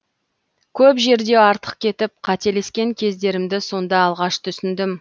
көп жерде артық кетіп қателескен кездерімді сонда алғаш түсіндім